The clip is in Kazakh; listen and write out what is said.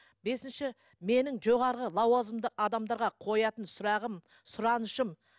бесінші менің жоғарғы лауазымды адамдарға қоятын сұрағым сұранышым